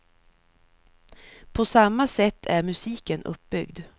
På samma sätt är musiken uppbyggd.